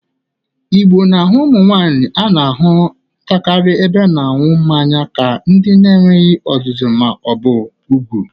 Igbo na-ahụ ụmụ nwaanyị a na-ahụtakarị n'ebe ịṅụ mmanya ka ndị na-enweghi ọzụzụ ma ọ bụ ugwu.